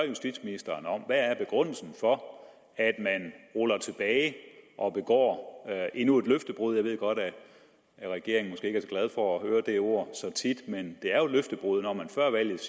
justitsministeren om hvad er begrundelsen for at man ruller tilbage og begår endnu et løftebrud jeg ved godt at regeringen så glad for at høre det ord så tit men det er jo et løftebrud når man før valget